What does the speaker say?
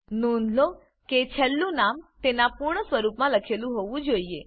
નોંધ લો કે છેલ્લું નામ તેના પૂર્ણ સ્વરૂપમાં લખેલું હોવું જ જોઈએ